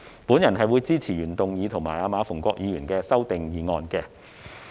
我會支持原議案及馬逢國議員的修正案。